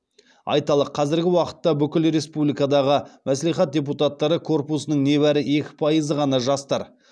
айталық қазіргі уақытта бүкіл республикадағы мәслихат депутаттары корпусының небәрі екі пайызы ғана жастар